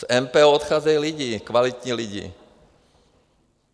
Z MPO odcházejí lidé, kvalitní lidé.